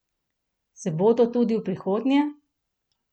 Se bodo tudi v prihodnje?